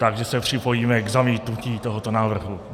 Takže se připojíme k zamítnutí tohoto návrhu.